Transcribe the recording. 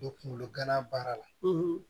U bɛ kunkolo gana baara la